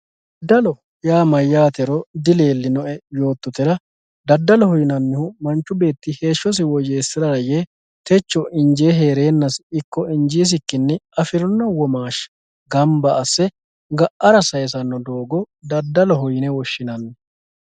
Dadaloho yaa mayaate yotohura dadaloho yinanihu manchi beetira heeshosi woyeesirara yee techo injee herenasini iko injiisikini afirino womaasha ganba asse ga`ara sayisano doogo dadaloho yine woshinani